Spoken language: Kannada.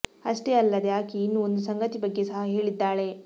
ಅಷ್ಟೇ ಅಲ್ಲದೆ ಆಕೆ ಇನ್ನು ಒಂದು ಸಂಗತಿ ಬಗ್ಗೆ ಸಹ ಹೇಳಿದ್ದಾಳೆ